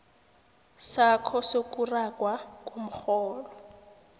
sakho sokuragwa komrholo